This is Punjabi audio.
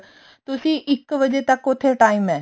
ਤੁਸੀਂ ਇੱਕ ਵਜੇ ਤੱਕ ਉੱਥੇ time ਹੈ